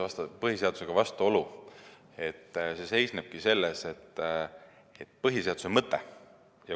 Mitte põhiseadusvastane, vaid põhiseadusega on vastuolu.